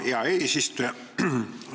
Hea eesistuja!